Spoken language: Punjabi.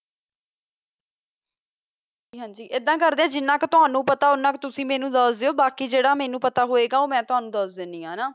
ਹਨ ਜੀ ਅਦਾ ਕਰ ਦਾ ਆ ਜਿਨਾ ਕੋ ਟੋਨੋ ਪਤਾ ਆ ਤੁਸੀਂ ਮੇਨੋ ਦਸ ਦੋ ਤਾਕਾ ਜਰਾ ਮੇਨੋ ਪਤਾ ਹੋਆ ਗਾ ਓਹੋ ਮਾ ਟੋਨੋ ਦਸ ਦੋ ਗੀ ਹਨ ਜੀ ਠੀਕ ਆ ਗੀ